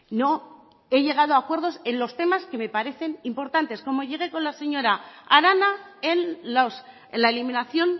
no he llegado a acuerdos en los temas que me parecen importantes como llegué con la señora arana en la eliminación